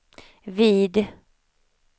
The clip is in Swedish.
vid